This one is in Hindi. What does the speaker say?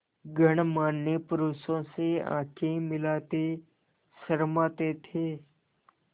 गणमान्य पुरुषों से आँखें मिलाते शर्माते थे